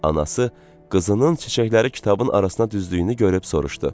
Anası qızının çiçəkləri kitabın arasına düzdüyünü görüb soruşdu.